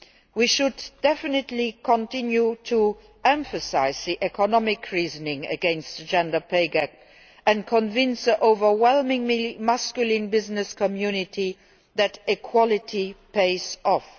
We should definitely continue to emphasise the economic reasoning against the gender pay gap and convince the overwhelmingly masculine business community that equality pays off.